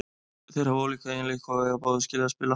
Þeir hafa ólíka eiginleika og eiga báðir skilið að spila.